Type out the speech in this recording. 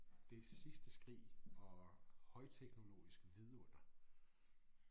Det sidste skrig og højteknologisk vidunder